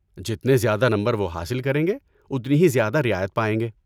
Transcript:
جتنے زیادہ نمبر وہ حاصل کریں گے، اتنی ہی زیادہ رعایت پائیں گے۔